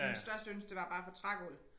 Hendes største ønske det var bare at få trægulv